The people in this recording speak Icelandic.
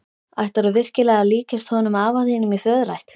Ætlarðu virkilega að líkjast honum afa þínum í föðurætt?